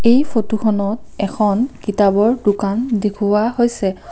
এই ফটোখনত এখন কিতাপৰ দোকান দেখোৱা হৈছে।